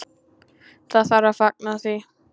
Það þarf að fagna því.